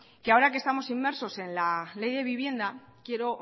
que ahora que estamos inmersos en la ley de vivienda quiero